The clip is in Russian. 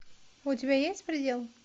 у тебя есть предел